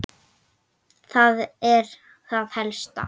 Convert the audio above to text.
Það er það helsta.